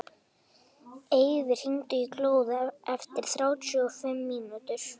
Eyfi, hringdu í Glóð eftir þrjátíu og fimm mínútur.